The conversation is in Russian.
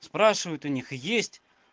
спрашивают у них есть